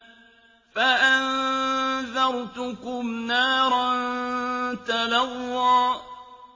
فَأَنذَرْتُكُمْ نَارًا تَلَظَّىٰ